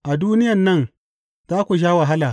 A duniyan nan za ku sha wahala.